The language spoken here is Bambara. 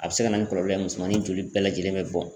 A bɛ se ka na ni kɔlɔlɔ ye musomanin joli bɛɛ lajɛlen bɛ bɔn.